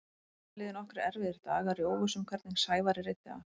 Það liðu nokkrir erfiðir dagar í óvissu um hvernig Sævari reiddi af.